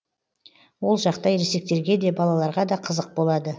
ол жақта ересектерге де балаларға да қызық болады